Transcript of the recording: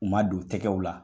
U ma don tɛgɛw la.